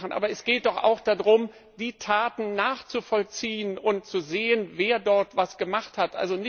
Aber es geht doch auch darum, die Taten nachzuvollziehen und zu sehen, wer dort was gemacht hat.